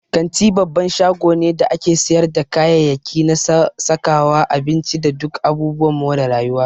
Kanti babban shago ne da ake siyarda kayayyaki na sakawa, abinci, da duk abubuwan more rayuwa.